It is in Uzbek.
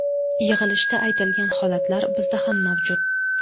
Yig‘ilishda aytilgan holatlar bizda ham mavjud.